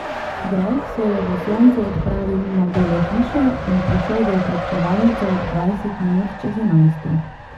Greg se je v soncu odpravil mimo Bele hiše in prišel v okrepčevalnico ob dvajset minut čez enajsto.